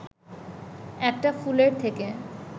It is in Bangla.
একটা ফুলের থেকে